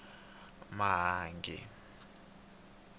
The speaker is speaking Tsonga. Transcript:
mahangi